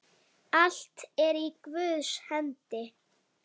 Allt er í Guðs hendi.